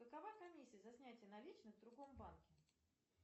какова комиссия за снятие наличных в другом банке